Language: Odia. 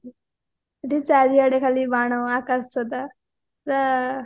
ଏଠି ଚାଡିଆଡେ ଖାଲି ବାଣ ଆକାଶ ଛତା ପୁରା